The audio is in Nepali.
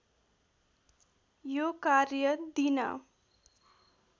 यो कार्य दिन